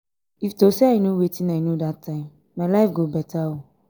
if to say i no wetin i no dat time my life go beta.